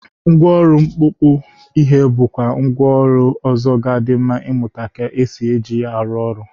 Ngwaọrụ mkpọpụ ihe bụkwa mgwa ọlụ ọzọ ga-adị m mma ịmụta ka esi eji ya arụ ọrụ.